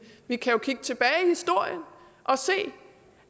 vi kan kigge tilbage i historien og se